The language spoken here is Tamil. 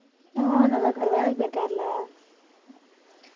அஹ் நல்லா இருக்காரு வேலைக்கு போயிருக்காருல